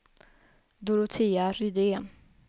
Dorotea Rydén